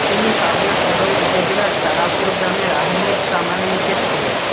তিনি পাবনা সদর উপজেলার তারাপুর গ্রামের আহমেদ প্রামাণিকের ছেলে